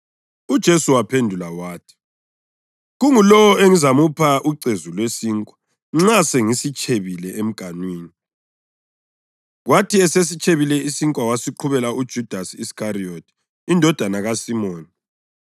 UJesu waphendula wathi, “Kungulowo engizamupha ucezu lwesinkwa nxa sengisitshebile emganwini.” Kwathi esesitshebile isinkwa wasiqhubela uJudasi Iskariyothi, indodana kaSimoni.